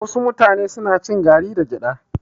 Wasu mutane suna cin gari da gyada